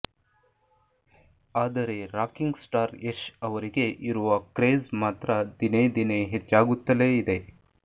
ಆದರೆ rocking star Yash ಅವರಿಗೆ ಇರುವ ಕ್ರೇಜ್ ಮಾತ್ರ ದಿನೇ ದಿನೇ ಹೆಚ್ಚಾಗುತ್ತಲೇ ಇದೆ